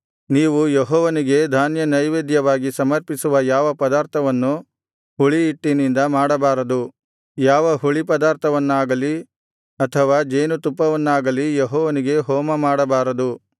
ನೀವು ಯೆಹೋವನಿಗೆ ಧಾನ್ಯ ನೈವೇದ್ಯವಾಗಿ ಸಮರ್ಪಿಸುವ ಯಾವ ಪದಾರ್ಥವನ್ನು ಹುಳಿಹಿಟ್ಟಿನಿಂದ ಮಾಡಬಾರದು ಯಾವ ಹುಳಿಪದಾರ್ಥವನ್ನಾಗಲಿ ಅಥವಾ ಜೇನುತುಪ್ಪವನ್ನಾಗಲಿ ಯೆಹೋವನಿಗೆ ಹೋಮಮಾಡಬಾರದು